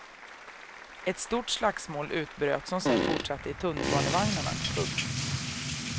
Ett stort slagsmål utbröt som sedan fortsatte i tunnelbanevagnarna. punkt